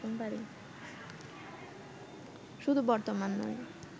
শুধু বর্তমান নয়